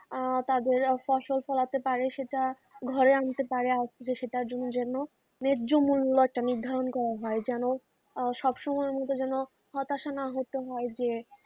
আহ তাদের ফসল ফলাতে পারে সেটা ঘরে আনতে পারে সেটার জন্য যেন যে মূল্য নির্ধারণ করা হয় যেন সব সময় যেন হতাশা না হতে হয় যে,